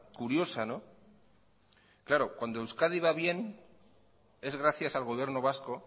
curiosa claro cuando euskadi va bien es gracias al gobierno vasco